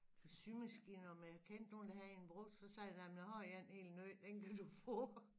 Symaskine og om jeg kendte nogen der havde en brugt så sagde jeg da jamen jeg har end er er helt ny den kan du få